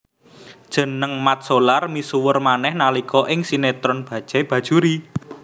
Jeneng Mat Solar misuwur manéh nalika ing sinetron Bajaj Bajuri